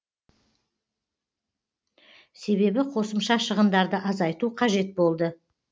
себебі қосымша шығындарды азайту қажет болды